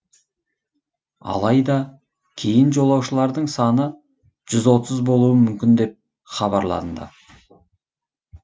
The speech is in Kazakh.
алайда кейін жолаушылардың саны жүз отыз болуы мүмкін деп хабарланды